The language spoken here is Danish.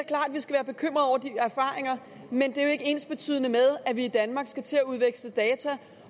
erfaringer men det er jo ikke ensbetydende med at vi i danmark skal til at udveksle data